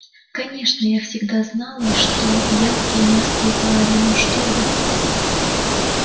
конечно я всегда знала что янки мерзкие твари но чтобы